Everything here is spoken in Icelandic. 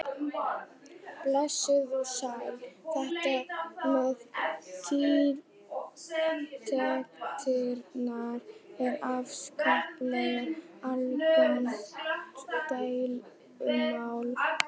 Blessuð og sæl, þetta með tiltektirnar er afskaplega algengt deilumál.